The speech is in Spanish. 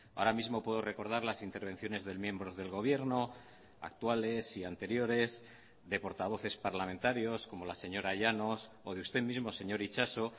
ahora mismo puedo recordar las intervenciones de miembros del gobierno actuales y anteriores de portavoces parlamentarios como la señora llanos o de usted mismo señor itxaso